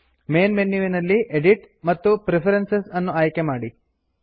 main ಮೆನ್ಯುವಿನಲ್ಲಿ edit ಮತ್ತು preferences ಅನ್ನು ಆಯ್ಕೆಮಾಡಿ